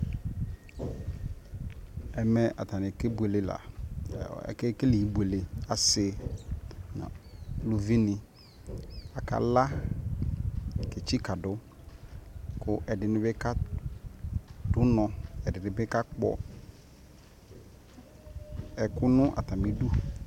ɛmɛ atani kɛ bʋɛlɛ la, akɛ kɛlɛ ibʋɛlɛ, asii nʋ ʋlʋvi ni aka la kɛ tsika dʋ kʋ ɛdini bi kadʋ ɔnɔ, ɛdinibi ka kpɔ ɛkʋ nʋ atami dʋ